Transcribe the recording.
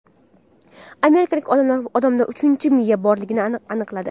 Amerikalik olimlar odamda uchinchi miya borligini aniqladi.